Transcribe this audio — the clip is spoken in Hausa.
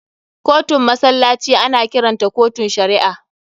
Kotun musulunci ana kiranta kotun shari'a.